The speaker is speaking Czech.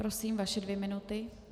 Prosím, vaše dvě minuty.